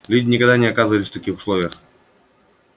люди никогда не оказывались в таких условиях